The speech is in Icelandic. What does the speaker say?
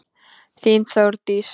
Þín Þórdís.